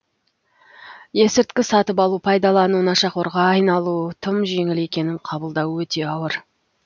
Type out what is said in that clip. есірткі сатып алу пайдалану нашақорға айналу тым жеңіл екенін қабылдау өте ауыр